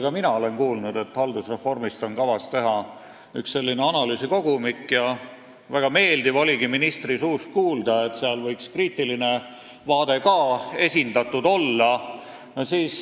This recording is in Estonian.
Ka mina olen kuulnud, et haldusreformi kohta on kavas teha üks analüüsikogumik ja väga meeldiv oligi ministri suust kuulda, et seal võiks kriitiline vaade ka esindatud olla.